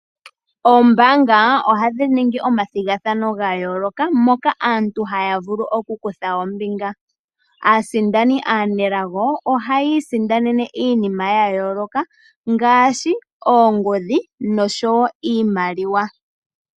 Oombanga ohadhi ningi omathigathano gayoolokano moka aantu haya vulu oku kutha ombinga . Aasindani aanelago ohayi isindanene iinima yayoolaka ngaashi oongodhi noshowo iimaliwa.